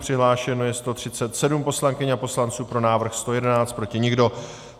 Přihlášeno je 137 poslankyň a poslanců, pro návrh 111, proti nikdo.